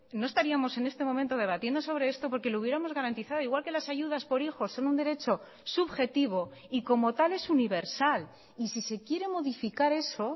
no estaríamos en este momento debatiendo sobre esto porque lo hubiéramos garantizado igual que las ayudas por hijos son un derecho subjetivo y como tal es universal y si se quiere modificar eso